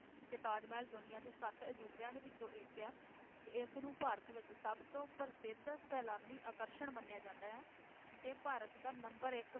ਤੇ ਤਾਜ ਮਹਿਲ ਦੁਨੀਆਂ ਦੇ ਸੱਤ ਅਜੂਬਿਆਂ ਦੇ ਵਿਚੋਂ ਇੱਕ ਆ ਤੇ ਇਸਨੂੰ ਭਾਰਤ ਵਿਚ ਸਬਤੋਂ ਪ੍ਰਸਿੱਧ ਸੈਲਾਨੀ ਆਕਰਸ਼ਣ ਮੰਨਿਆ ਜਾਂਦਾ ਆ ਤੇ ਭਾਰਤ ਦਾ number ਇਕ